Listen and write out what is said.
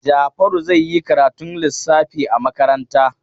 Jafaru zai yi karatun lissafi a makaranta.